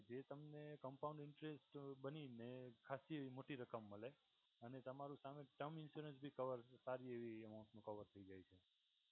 એ તમને compound interest બનીને ખાસી મોટી રકમ મળે અને તમારું સામે term insurance ભી cover સારી એવી અમાઉન્ટ કવર મલે